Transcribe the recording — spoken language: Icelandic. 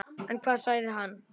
En hvað sagði hann?